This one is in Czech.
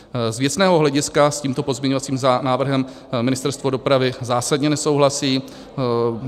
Z věcného hlediska s tímto pozměňovacím návrhem Ministerstvo dopravy zásadně nesouhlasí.